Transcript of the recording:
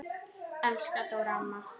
Elsku Dóra amma.